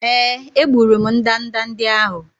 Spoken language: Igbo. Èé, egburu m ndanda ndị ahụ.